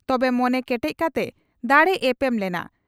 ᱛᱚᱵᱮ ᱢᱚᱱᱮ ᱠᱮᱴᱮᱡ ᱠᱟᱛᱮ ᱫᱟᱲᱮ ᱮᱯᱮᱢ ᱞᱮᱱᱟ ᱾